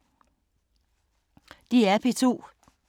DR P2